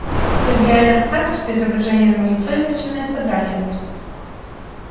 сергей орёт так что изображение на мониторе начинает подрагивать